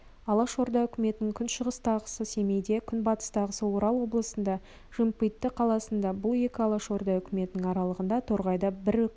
алашорда үкіметінің күншығыстағысы семейде күнбатыстағысы орал облысында жымпиты қаласында бұл екі алашорда үкіметінің аралығында торғайда бір үкіметі